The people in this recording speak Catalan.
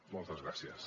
moltes gràcies